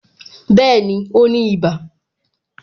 Bẹẹni, ó ní iba